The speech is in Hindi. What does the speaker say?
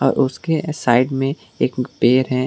और उसके साइड में एक पेड़ है।